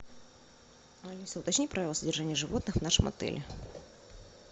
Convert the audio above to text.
алиса уточни правила содержания животных в нашем отеле